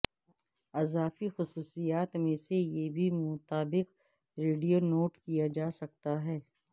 اضافی خصوصیات میں سے یہ بھی مطابق ریڈیو نوٹ کیا جا سکتا ہے